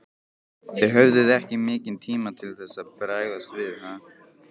Þið höfðuð ekki mikinn tíma til þess að bregðast við?